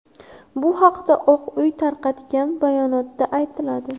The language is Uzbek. Bu haqda Oq uy tarqatgan bayonotda aytiladi.